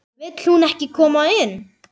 Vill hún ekki koma inn?